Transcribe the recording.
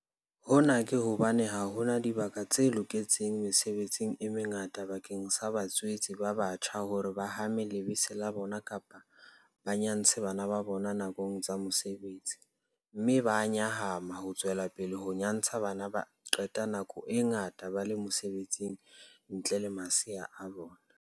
Hona ke hobane ha hona dibaka tse loketseng mesebetsing e mengata bakeng sa batswetse ba batjha hore ba hame lebese la bona kapa ba nyantshe bana ba bona nakong tsa mosebetsi, mme ba a nyahama ho tswelapele ho nyantsha hobane ba qeta nako e ngata ba le mosebetsing ntle le masea a bona.